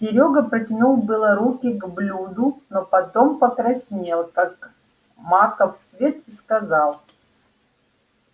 серёга протянул было руки к блюду но потом покраснел как маков цвет и сказал